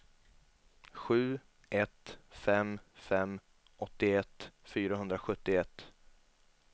sju ett fem fem åttioett fyrahundrasjuttioett